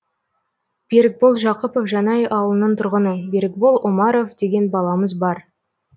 берікбол жақыпов жанай ауылының тұрғыны берікбол омаров деген баламыз бар